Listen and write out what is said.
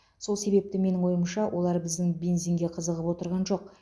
сол себепті менің ойымша олар біздің бензинге қызығып отырған жоқ